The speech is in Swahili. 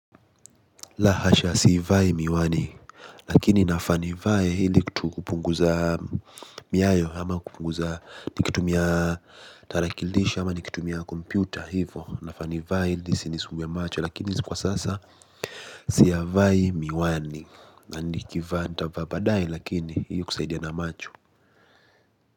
La hasha siivai miwani. Lakini nafaa nivae ili kupunguza miayo ama kupunguza nikitumia tarakilishi ama nikitumia kompyuta hivyo. Nafaa nivae ili isinisumbue macho. Lakini kwa sasa siyavai miwani na nikivaa ntavaa baadae lakini ili kusaidia na macho.